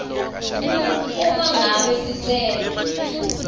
uma ngabe sicelo